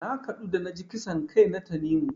Na kaɗu da naji kisan kai na Tanimu.